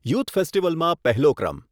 youth ફેસ્ટિવલમાં પહેલો ક્રમ